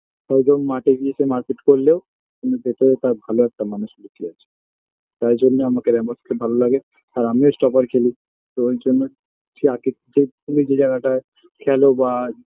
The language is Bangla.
মাঠে গিয়ে সে মারপিট করলেও কিন্তু ভেতরে তার ভালো একটা মানুষ লুকিয়ে আছে তাই জন্য আমাকে রেমোস খুব ভালো লাগে আর আমিও stopper খেলি তো এই জন্য যে আরকি যে তুমি যে জায়গাটায় খেলো বা